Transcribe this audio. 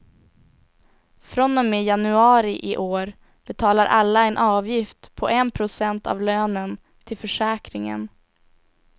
Från och med januari i år betalar alla en avgift på en procent av lönen till försäkringen.